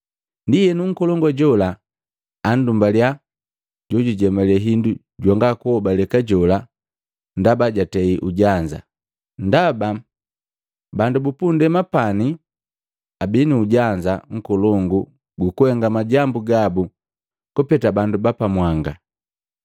Ndienu, nkolongu jola andumbalya jojujemale hindu jwanga kuhobaleka jola ndaba jatei ujanza. Ndaba bandu bupundema pani abii nu ujanza nkolongu gukuhenga majambu gabu kupeta bandu ba pamwanga.”